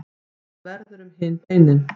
hvað verður um hin beinin